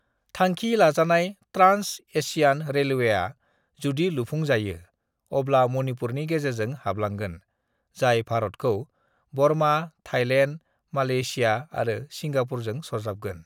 "थांखि लाजानाय ट्रांस-एशियन रेलवेआ, जुदि लुफुंजायो, अब्ला मणिपुरनि गेजेरजों हाब्लांगोन, जाय भारतखौ बर्मा, थाईलेन्ड, मालेशिया आरो सिंगापुरजों सरजाबगोन।"